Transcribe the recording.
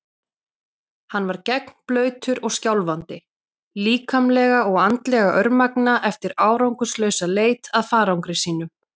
Hann var gegnblautur og skjálfandi, líkamlega og andlega örmagna eftir árangurslausa leit að farangri sínum.